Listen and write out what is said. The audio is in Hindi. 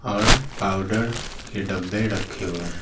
और पाउडर के डब्बे रखे हुए हैं।